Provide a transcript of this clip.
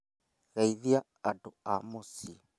Geithia andũ a mũciĩ